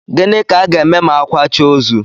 Gịnị ka a ga-eme ma a kwachaa ozu?